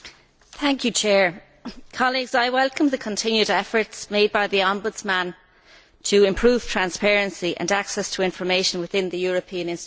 Mr President, I welcome the continued efforts made by the Ombudsman to improve transparency and access to information within the European institutions.